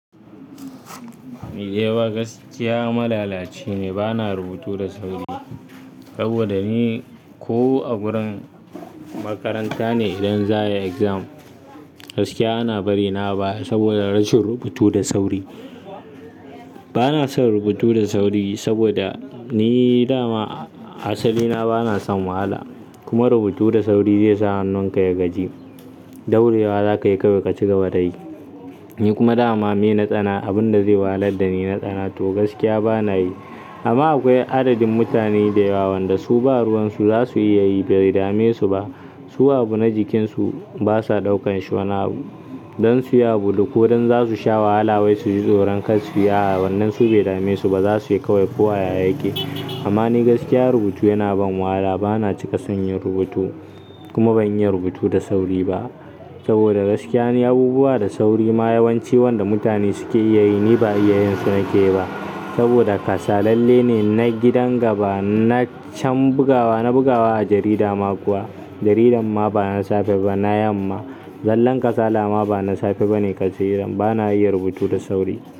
Nidai ma gaskiya malalaci ne, bana rubutu da sauri. Saboda ni ko a wurin makaranta ne idan za a yi exam, gaskiya ana bari na baya saboda rashin rubutu da sauri. Bana son rubutu da sauri saboda ni dama asali na bana son wahala. Kuma rubutu da sauri zai sa hannunka ya gaji. Daurewa za ka yi ka kai ka cika wadayi. Ni kuma dama me tsana, abin da zai walar da ni na tsana to gaskiya bana yi. Amma akwai adadin mutane da yawa, wanda su ba ruwan su za su iya yi bai dame su ba. Su abu na jikinsu basa ɗaukan shon abu don su ya bulu ko don za su sha wahala wai su ji tsoron kar su yi a a, wannan su bai dame su ba za suyi kawai kowa yayi yake. Amma ni gaskiya rubutu yana ban wahala bana cika son yin rubutu. Kuma ban iya rubutu da sauri ba. Saboda gaskiya ni abubuwa da sauri ma yawanci wanda mutane suke iya yi ni ba iya yin su nake ba. Saboda kasa lalle ne na gidan gaba, na can bugawa, na bugawa a jarida ma kuwa, jarida ma bana safe ba na yamma. Zallan kasa dama bana safe bane kaci irin. Bana iya rubutu da sauri.